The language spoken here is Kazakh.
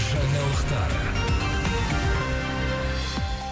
жаңалықтар